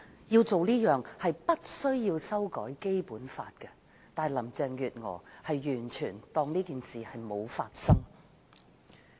要做這件事並不需要修改《基本法》，但林鄭月娥完全視若無睹。